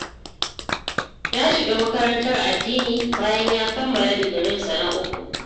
Ya shiga makarantar addini, bayan ya kammala digirinsa na uku.